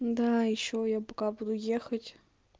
да ещё я пока буду ехать